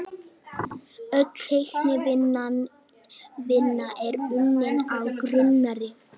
Öll teiknivinna er unnin af Gunnari